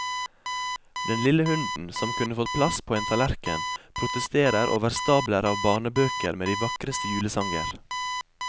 Den lille hunden, som kunne fått plass på en tallerken, protesterer over stabler av barnebøker med de vakreste julesanger.